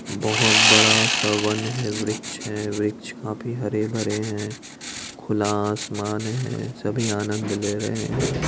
बोहोत बड़ा सा वन है वृक्ष है वृक्ष काफी हरे भरे हैं खुला आसमान है सभी आनंद ले रहे हैं।